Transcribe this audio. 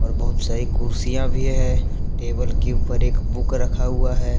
और बहुत सारी कुर्सियां भी है। टेबल के ऊपर एक बुक रखा हुआ है।